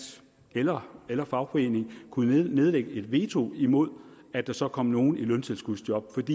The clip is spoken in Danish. eller eller fagforening kunne nedlægge et veto imod at der så kom nogen i løntilskudsjob